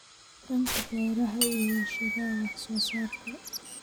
dhanka beeraha iyo warshadaha wax soo saarka.